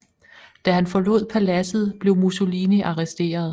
Da han forlod paladset blev Mussolini arresteret